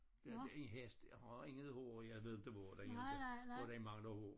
Den ene hest har intet hår jeg ved det bare inte hvor den mangler hår